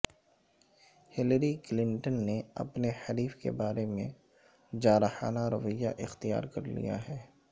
Hillary Clinton نے اپنے حریف کے بارے میں جارحانہ رویہ اختیار کر لیا ہے